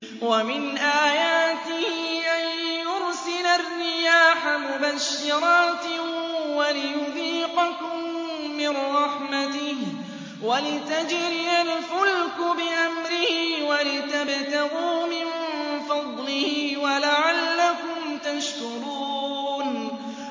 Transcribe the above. وَمِنْ آيَاتِهِ أَن يُرْسِلَ الرِّيَاحَ مُبَشِّرَاتٍ وَلِيُذِيقَكُم مِّن رَّحْمَتِهِ وَلِتَجْرِيَ الْفُلْكُ بِأَمْرِهِ وَلِتَبْتَغُوا مِن فَضْلِهِ وَلَعَلَّكُمْ تَشْكُرُونَ